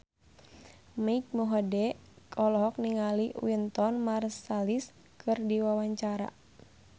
Mike Mohede olohok ningali Wynton Marsalis keur diwawancara